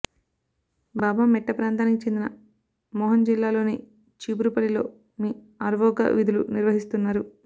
బాబా మెట్ట ప్రాంతానికి చెందిన మోహన్ జిల్లాలోని చీపురుపల్లిలో వీఆర్వోగా విధులు నిర్వహిస్తున్నారు